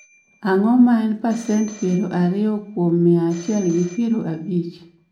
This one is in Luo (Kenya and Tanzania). Ang'o ma en pasent piero ariyo kuom mia achiel gi piero abich